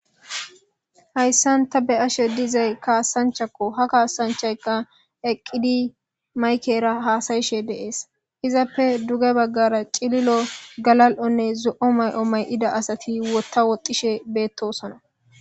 Hayssan ta be'ashe dizay kaasanchakko ha kaasanchayka eqqidi maykera haasayishe deees izappe duge baggara cililo galal'onne zo'o may'o may'ida asati wotta woxxishe beettosona.